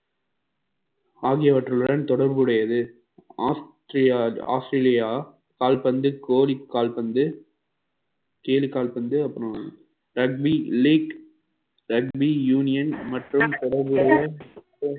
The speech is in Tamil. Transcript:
ஆகியவற்றுடன் தொடர்புடையது ஆஸ்திரே~ ஆஸ்திரேலியா கால்பந்து கோரிக் கால்பந்து தேனி கால்பந்து அப்புறம் redmi league, redmi union மற்றும்